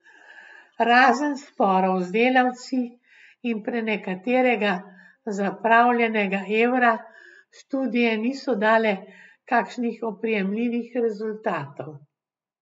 Razen sporov z delavci in prenekaterega zapravljenega evra študije niso dale kakšnih oprijemljivih rezultatov.